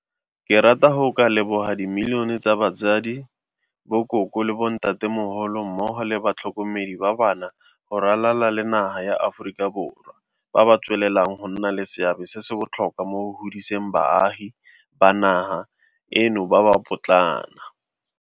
Ke rata go ka leboga dimilionemilione tsa batsadi, bokoko le bontatemogolo mmogo le batlhokomedi ba bana go ralala le naga ya Aforika Borwa ba ba tswelelang go nna le seabe se se botlhokwa mo go godiseng baagi ba naga eno ba ba potlana.